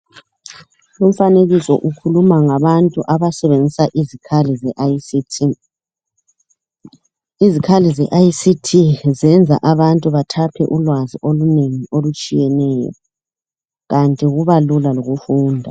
Umfanekiso ukhuluma ngabantu abasebenzisa izikhali ze ICT. Izikhali ze ICT zenza abantu bathaphe ulwazi olunengi olutshiyeneyo, kanti kuba lula lokufunda.